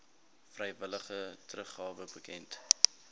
vrywillige teruggawe bekend